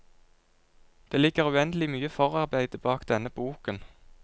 Det ligger uendelig mye forarbeide bak denne boken.